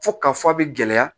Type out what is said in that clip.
Fo ka fɔ a bɛ gɛlɛya